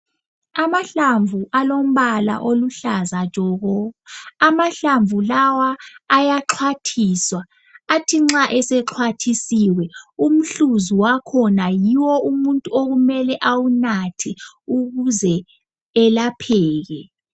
Amahlamvu alombala oluhlaza tshoko , amahlamvu lawa ayaxhwathiswa athi nxa esexhwathisiwe umhluzi wakhona yiwo okumele umuntu awunathe ukuze elapheke.